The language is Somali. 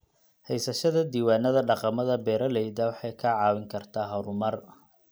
Haysashada diiwaanada dhaqamada beeralayda waxay kaa caawin kartaa horumar.